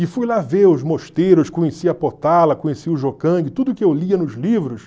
E fui lá ver os mosteiros, conheci a Potala, conheci o Jokang, tudo que eu lia nos livros.